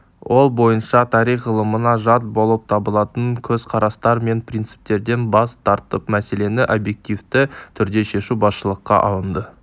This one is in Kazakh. ол бойынша тарих ғылымына жат болып табылатын көзқарастар мен принциптерден бас тартып мәселені объективті түрде шешу басшылыққа алынды